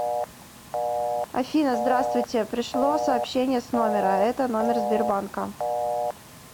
афина здравствуйте пришло сообщение с номера это номер сбербанка